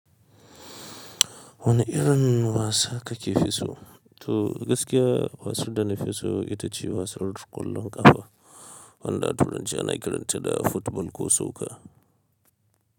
Wani irin wasa kake fi so? To gaskiya wasan da na fi so ita ce wasan ƙwallon ƙafa wanda turanci ana kiranta da football ko soccer.